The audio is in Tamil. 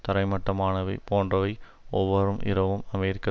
தரைமட்டமானமை போன்றவை ஒவ்வோர் இரவும் அமெரிக்க